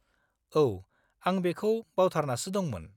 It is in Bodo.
औ, आं बेखौ बावथारनासो दंमोन।